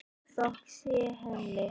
Þökk sé henni.